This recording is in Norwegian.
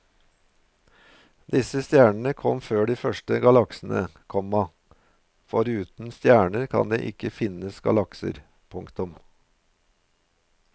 Disse stjernene kom før de første galaksene, komma for uten stjerner kan det ikke finnes galakser. punktum